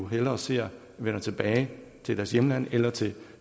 hellere ser vender tilbage til deres hjemland eller til